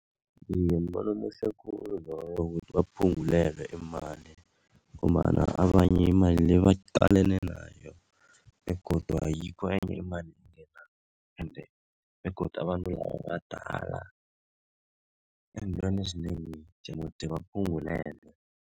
Iye, mbono omuhle khulu loyo ukuthi baphungulelwe imali ngombana abanye imali le baqalene nayo begodu ayikho enye imali engenako ende begodu abantu laba badala eentweni ezinengi jemde baphungulelwe.